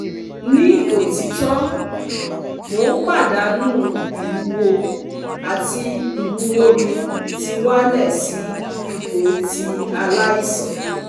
Ni otito, mo n padanu iwuwo ati iwuwo mi ti wa le si ipo ti alaisan